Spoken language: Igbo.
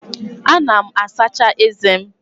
Ana m asacha eze m.